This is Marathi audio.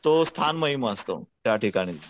तो स्थान महिमा असतो त्या ठिकाणचा.